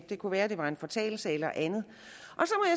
det kunne være det var en fortalelse eller andet